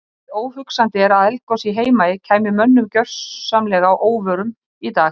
Nær óhugsandi er að eldgos í Heimaey kæmi mönnum gjörsamlega að óvörum í dag.